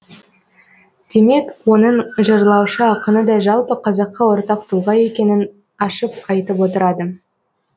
демек оның жырлаушы ақыны да жалпы қазаққа ортақ тұлға екенін ашып айтып отырады